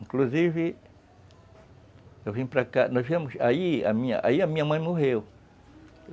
Inclusive, eu vim para cá, nós viemos, aí a minha, aí a minha mãe morreu.